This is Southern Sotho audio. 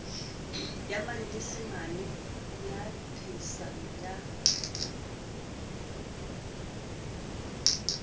ya manyesemane le phehisano ya